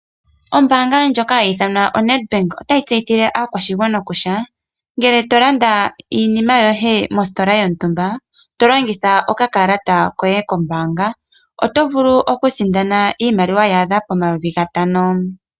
Ombanga lyoka hayi idhanwa o Nedbank otayi tseyithile aakwashigwana kutya ngele tolanda iinima yoye mostola yontumba tolongitha okakalata koye koombanga oto vulu okusinda iimaliwa yadha po N$5000.